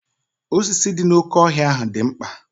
osisi dị n'oké ọhịa dị mkpa